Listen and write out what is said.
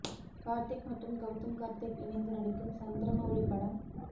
கார்த்திக் மற்றும் கவுதம் கார்த்திக் இணைந்து நடிக்கும் சந்திரமௌலி படம்